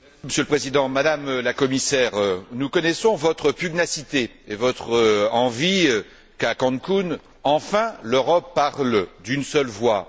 Monsieur le Président, Madame la Commissaire, nous connaissons votre pugnacité et votre envie qu'à Cancún, enfin, l'Europe parle d'une seule voix.